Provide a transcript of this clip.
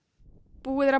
búið er að